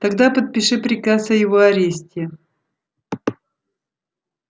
тогда подпиши приказ о его аресте